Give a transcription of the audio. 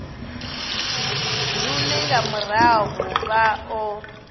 lune nga murahu vha o